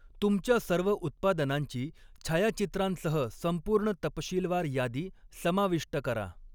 तुमच्या सर्व उत्पादनांची छायाचित्रांसह संपूर्ण तपशीलवार यादी समाविष्ट करा.